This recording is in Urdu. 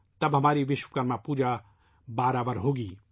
تب ہماری وشوکرما پوجا درست ثابت ہو گی